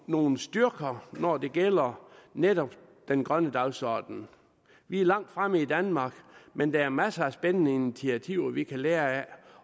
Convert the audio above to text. nogle styrker når det gælder netop den grønne dagsorden vi er langt fremme i danmark men der er masser af spændende initiativer vi kan lære af